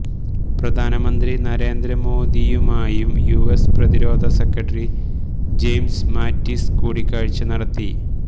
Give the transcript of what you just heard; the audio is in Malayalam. പ്രധാനമന്ത്രി നരേന്ദ്രമോദിയുമായും യുഎസ് പ്രതിരോധ സെക്രട്ടറി ജെയിംസ് മാറ്റിസ് കൂടിക്കാഴ്ച നടത്തി